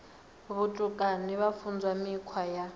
vhutukani vha funzwa mikhwa ya